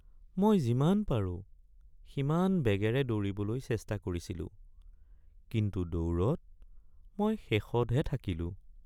মই যিমান পাৰোঁ সিমান বেগেৰে দৌৰিবলৈ চেষ্টা কৰিছিলোঁ কিন্তু দৌৰত মই শেষতহে থাকিলোঁ।